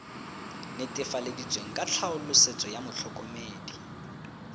netefaleditsweng ka tlhaolosetso ya motlhokomedi